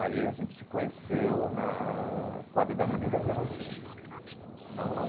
Aí a gente se conheceu na quadra da Nenê da Vila Matilde não não.